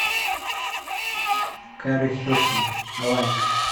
кери хилсон ай лайк